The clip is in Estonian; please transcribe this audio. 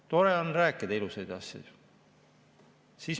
Tore on rääkida ilusaid asju.